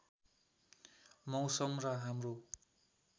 मौसम र हाम्रो